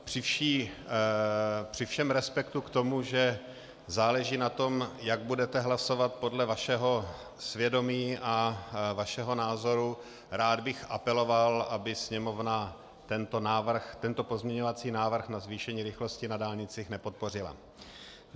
Při všem respektu k tomu, že záleží na tom, jak budete hlasovat podle vašeho svědomí a vašeho názoru, rád bych apeloval, aby Sněmovna tento pozměňovací návrh na zvýšení rychlosti na dálnicích nepodpořila.